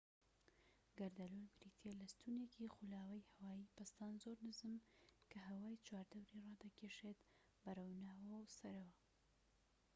گەردەلوول بریتیە لە ستونێکی خولاوەی هەوای پەستان زۆر نزم کە هەوای چواردەوری ڕادەکیشێت بەرەوناوەوە و سەرەوە